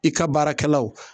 I ka baarakɛlaw